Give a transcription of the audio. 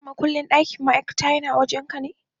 Shin matukin ɗakin ma'aikata yana wajen ka?